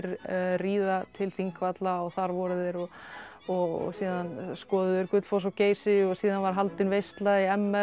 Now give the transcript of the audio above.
ríða til Þingvalla og þar voru þeir og og síðan skoðuðu þeir Gullfoss og Geysi og síðan var haldin veisla í m r